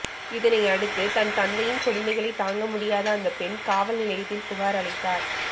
இதனையடுத்து தன் தந்தையின் கொடுமைகளை தாங்க முடியாத அந்த பெண் காவல் நிலையத்தில் புகார் அளித்தார்